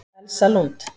Elsa Lund